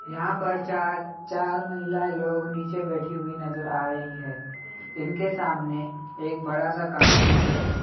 यहां पर चार-चार महिलाएं लोग नीचे बैठी हुई नजर रही है| इनके सामने एक बड़ा-सा कांच भी है।